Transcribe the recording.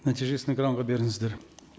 нәтижесін экранға беріңіздер